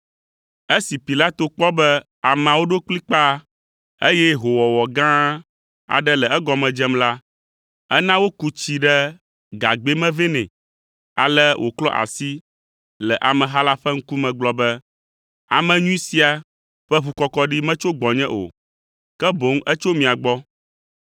Esi Pilato kpɔ be ameawo ɖo kplikpaa, eye hoowɔwɔ gã aɖe le egɔme dzem la, ena woku tsi ɖe gagbɛ me vɛ nɛ, ale wòklɔ asi le ameha la ƒe ŋkume gblɔ be, “Ame nyui sia ƒe ʋukɔkɔɖi metso gbɔnye o; ke boŋ etso mia gbɔ!”